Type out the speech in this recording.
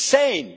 It's insane!